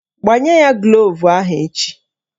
Gbanye ya gloovu ahụ echi!